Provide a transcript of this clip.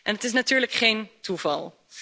Het is natuurlijk geen toeval.